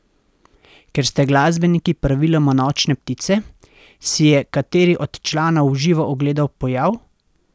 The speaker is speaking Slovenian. Ker ste glasbeniki praviloma nočne ptice, si je kateri od članov v živo ogledal pojav?